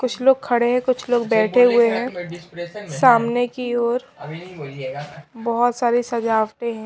कुछ लोग खड़े हैं कुछ लोग बैठे हुए हैं सामने की ओर बहुत सारी सजावटें हैं।